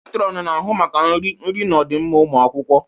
Matron na-ahụ maka nri, nri na ọdịmma ụmụ akwụkwọ